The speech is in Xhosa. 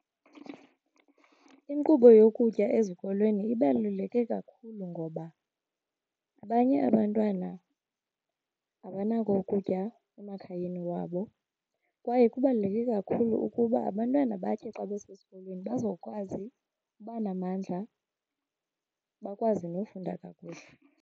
Inkqubo yokutya ezikolweni ibaluleke kakhulu ngoba abanye abantwana abanako ukutya emakhayeni wabo. Kwaye kubaluleke kakhulu ukuba abantwana batye xa besesikolweni bazokwazi uba namandla bakwazi nofunda kakuhle.